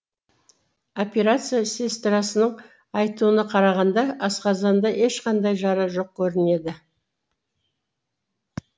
операция сестрасының айтуына қарағанда асқазанда ешқандай жара жоқ көрінеді